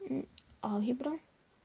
алгебра